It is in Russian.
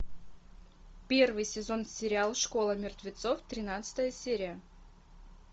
первый сезон сериал школа мертвецов тринадцатая серия